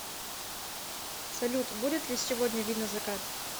салют будет ли сегодня видно закат